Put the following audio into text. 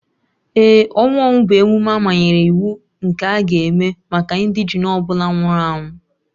Ee, ọnwụ ọnwụ bụ emume amanyere iwu nke a ga-eme maka indegene ọ bụla nwụrụ anwụ